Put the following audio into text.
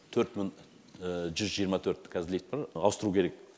төрт мың жүз жиырма төрт каз лифт бар ауыстыру керек